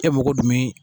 E mago dun bɛ